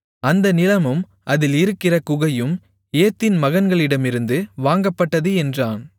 அந்த நிலமும் அதில் இருக்கிற குகையும் ஏத்தின் மகன்களிடமிருந்து வாங்கப்பட்டது என்றான்